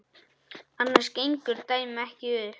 Annars gengur dæmið ekki upp.